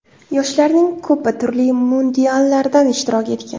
Yoshlarning ko‘pi turli mundiallardan ishtirok etgan”.